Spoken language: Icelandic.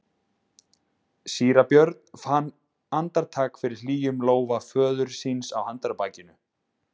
Síra Björn fann andartak fyrir hlýjum lófa föður síns á handarbakinu.